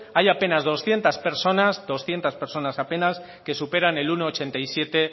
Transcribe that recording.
hay apenas doscientos personas doscientos personas apenas que superan el uno coma ochenta y siete